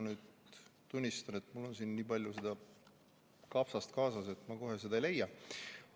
Ma tunnistan, et mul on siin nii palju seda kapsast kaasas, et ma kohe ei leia seda.